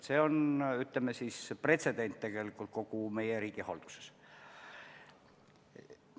See on tegelikult pretsedent kogu meie riigihalduses.